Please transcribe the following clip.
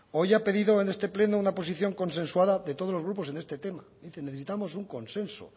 hoy ha pedido en este pleno una posición consensuada de todos los grupos en este tema dice necesitamos un consenso